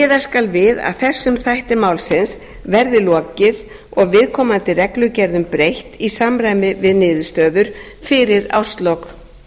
skal við að þessum þætti málsins verði lokið og viðkomandi reglugerðum breytt í samræmi við niðurstöður fyrir árslok